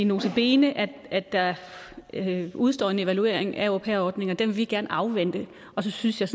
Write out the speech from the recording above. nota bene at der udestår en evaluering af au pair ordningen og den vil vi gerne afvente og så synes jeg